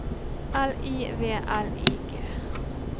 L I V L I G